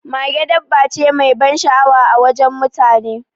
Mage dabba ce mai ban sha'awa a wajen mutane.